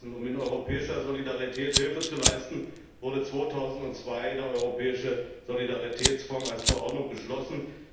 Um in europäischer Solidarität Hilfe zu leisten, wurde 2002 der Europäische Solidaritätsfonds als Verordnung beschlossen.